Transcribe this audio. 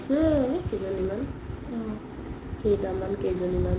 সেই আৰু কেইজনি মান কেইটামান কেইজনি মান